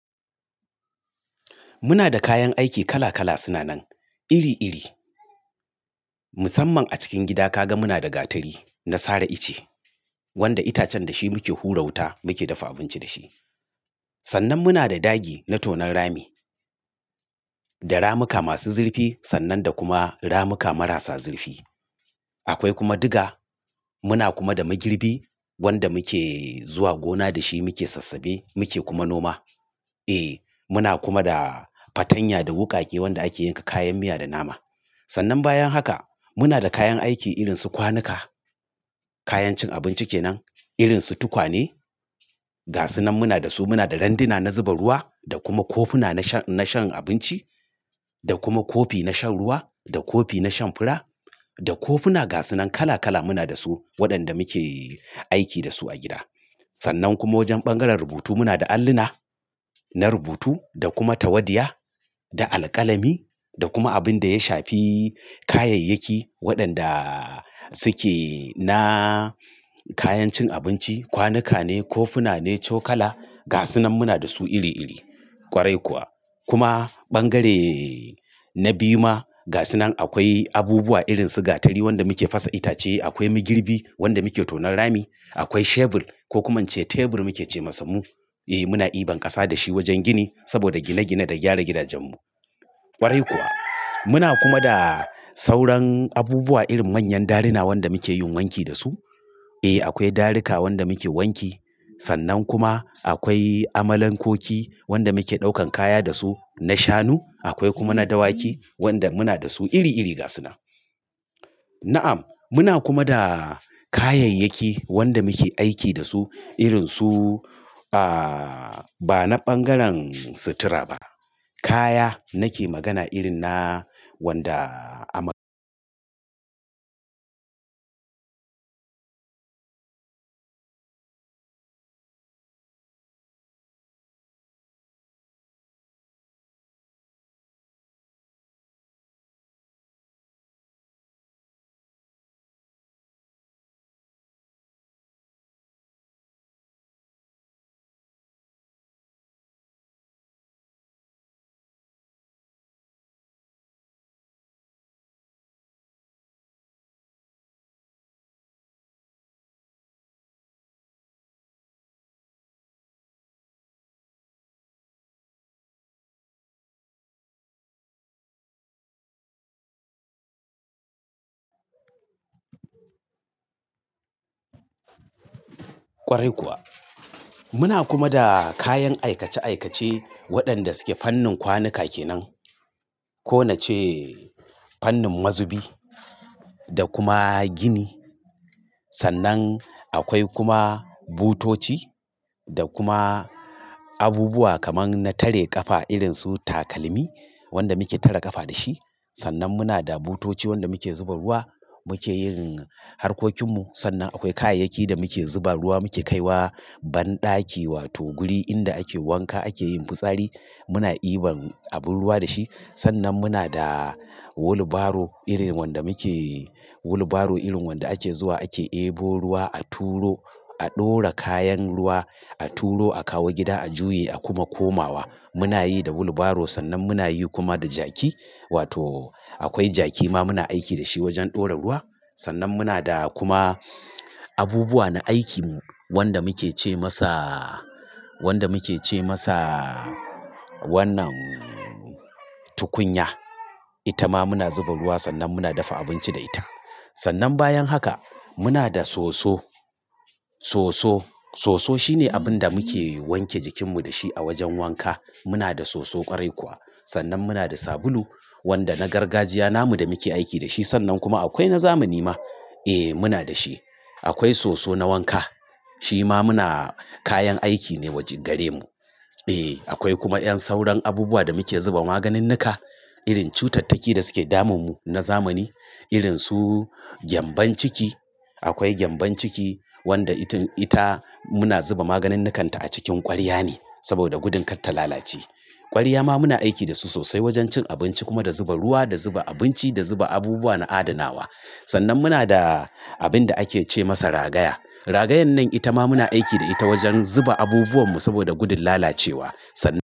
Muna da kayan aiki kala kala suna nan iri iri. Musamman a cikin gida kaga muna da gatari na sare ice, wanda itacen da shi muke hura wuta muke dafa abinci da shi. Sannan muna da dagi na tonon rami, da ramuka masu zurfi sannan da kuma ramuka marasa zurfi. Akwai kuma diga. Muna kuma da magirbi wanda muke zuwa gona da shi muke sassabe muke kuma noma. Eh muna kuma da fatanya da wukake wanda ake yanka kayan miya da nama. Sannan bayan haka muna da kayan aiki irin su kwanuka, kayan cin abinci kenan irin su tukwane. Ga suna muna da su muna da randuna na zuba ruwa da kuma kofuna na shan abinci da kuma kofi na shan ruwa da kofi na shan fura da kofuna ga suna kala kala muna da su waɗanda muke aiki da su a gida. Sannan kuma wajen bangaren rubutu muna da alluna na rubutu da kuma tawadiya da alƙalami da kuma abin da ya shafi kayayyaki waɗanda suke na kayan cin abinci kwanuka ne kofuna ne cokala ga suna muna da su iri iri. Kwarai kuwa. Kuma bangare na biyu ma ga suna akwai abubuwa irin su gatari wanda muke fasa itace akwai magirbi wanda muke tonon rami. Akwai shebur ko kuma ince tebur muke ce masa mu. Eh muna ɗiban ƙasa da shi wajen gini saboda gine gine da gyara gidajenmu. Kwarai kuwa muna kuma da sauran abubuwa irin manyan daruna wanda mukeyin wanki dasu. Eh akwai darika wanda muke wanki. Sannan kuma akwai amalan koki wanda muke ɗaukan kaya da su na shanu. Akwai kuma na dawaki wanda muna da su iri iri ga suna. Na'am muna kuma da kayayyaki wanda muke aiki da su irin su aaa ba na bangaren sutura ba. Kaya nake magana irin na wanda ama--. Kwarai kuwa. Muna kuma da kayan aikace aikace waɗanda suke fannin kwanuka kenan. Ko na ce fannin mazubi da kuma gini. Sannan akwai kuma butoci da kuma abubuwa kaman na tare ƙafa irin su takalmi wanda muke tare ƙafa da shi. Sannan muna da butoci wanda muke zuba ruwa muke yin harkokin mu. Sannan akwai kayayyaki da muke zuba ruwa muke kaiwa banɗaki wato guri inda ake wanka ake yin fitsari. Muna ɗiban abin ruwa da shi. Sannan muna da wheelbarrow irin wanda muke wheelbarrow irin wanda ake zuwa ake ebo ruwa a turo a ɗora kayan ruwa a turo a kawo gida a juye a kuma komawa. Muna yi da wheelbarrow sannan muna yi kuma da jaki. Wato akwai jaki ma muna aiki da shi wajen ɗora ruwa. Sannan muna da kuma abubuwa na aiki wanda muke ce masa wannan tukunya. Ita ma muna zuba ruwa sannan muna dafa abinci da ita. Sannan bayan haka muna da soso. Soso shine abin da muke wanke jikinmu da shi a wajen wanka. Muna da soso kwarai kuwa. Sannan muna da sabulu wanda na gargajiya namu da muke aiki da shi. Sannan kuma akwai na zamani ma. Eh muna da shi. Akwai soso na wanka shi ma muna kayan aiki ne gare mu. Eh akwai kuma ƴan sauran abubuwa da muke zuba maganin nuka irin cutattaki da suke damun mu na zamani irin su gyambon ciki. Akwai gyambon ciki wanda ita muna zuba maganin nikanta a cikin ƙwarya ne saboda gudun kar ta lalace. Ƙwarya ma muna aiki da su sosai wajen cin abinci kuma da zuba ruwa da zuba abinci da zuba abubuwa na adanawa. Sannan muna da abin da ake ce masa ragaya. Ragayan nan ita ma muna aiki da ita wajen zuba abubuwan mu saboda gudun lalacewa. Sannan.